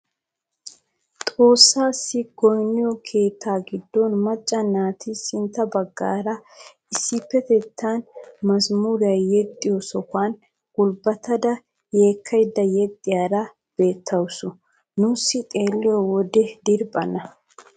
Xoossassi goynniyoo keettaa giddon macca naati sintta baggaara issipetettaan mazmuriyaa yexxiyoo sohuwaan gulbattada yeekkaydda yexxiyaara beettawus nuusi xeelliyo wode diriphphan.